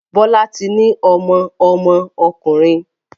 Bola tí ní ọmọ ọmọ ọkunrin